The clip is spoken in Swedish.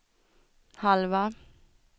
halva